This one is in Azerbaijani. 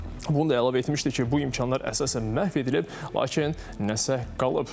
Bunu da əlavə etmişdi ki, bu imkanlar əsasən məhv edilib, lakin nəsə qalıb.